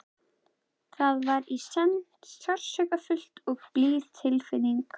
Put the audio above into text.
Það var í senn sársaukafull og blíð tilfinning.